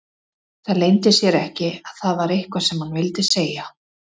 Það leyndi sér ekki að það var eitthvað sem hann vildi segja.